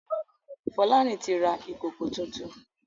Folarin tí ra Ìkòkò títún.